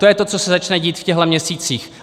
To je to, co se začne dít v těchto měsících.